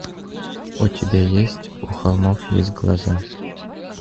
у тебя есть у холмов есть глаза